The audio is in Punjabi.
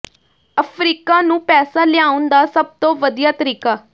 ਅਫ਼ਰੀਕਾ ਨੂੰ ਪੈਸਾ ਲਿਆਉਣ ਦਾ ਸਭ ਤੋਂ ਵਧੀਆ ਤਰੀਕਾ